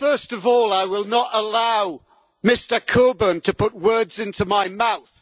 First of all, I will not allow Mr Coburn to put words into my mouth.